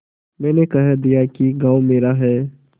मैंने कह दिया कि गॉँव मेरा है